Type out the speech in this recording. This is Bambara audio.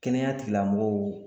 Kɛnɛya tigilamɔgɔw